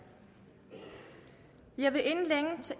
jeg vil